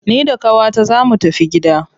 Ni da qawata zaa mu tafi gida.